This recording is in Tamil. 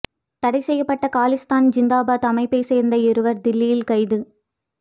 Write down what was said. தடை செய்யப்பட்ட காலிஸ்தான் ஜிந்தாபாத் அமைப்பைச் சோ்ந்த இருவா் தில்லியில் கைது